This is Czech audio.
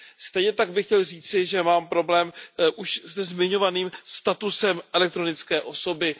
Stejně tak bych chtěl říci, že mám problém už se zmiňovaným statusem elektronické osoby.